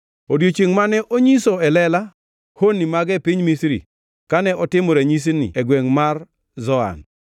odiechiengʼ mane onyiso e lela honni mage e piny Misri kane otimo ranyisino e gwengʼ mar Zoan.